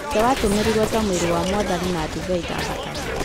Mũgate watũmĩrirwo ta mwĩra wa Mwathani na divei ta thakame.